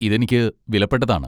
ഇത് എനിക്ക് വിലപ്പെട്ടതാണ്.